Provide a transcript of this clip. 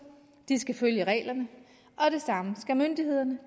de skal følge reglerne og det samme skal myndighederne